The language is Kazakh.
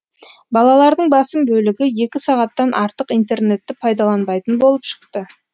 балалардың басым бөлігі екі сағаттан артық интернетті пайдаланбайтын болып шықты